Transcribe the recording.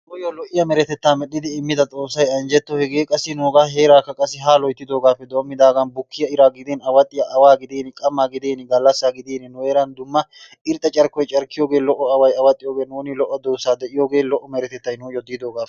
nuyyo lo''iya meretetta medhdhidi immida Xoossay anjjetto, hegee qassi nuuga heerakka qassi haa loyttidoogappe doommidaagan bukkiya ira gidin, awaxxiya awaa gidin, qammaa gidin, gallassa gidin nu heeran dumma irxxa carkkoy carkkiyooge lo''o away awaxxiyo nuuni lo''o duussa diidooge lo''o meretettay nuyyo de'iyoogappe.